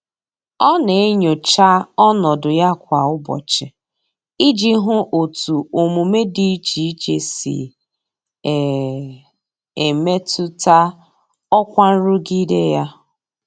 Ọ na-enyocha ọnọdụ ya kwa ụbọchị iji hụ otu omume dị iche iche si e e metụta ọkwa nrụgide ya.